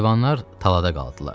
Heyvanlar talada qaldılar.